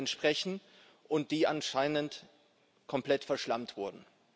Euro entsprechen und die anscheinend komplett verschlampt wurden.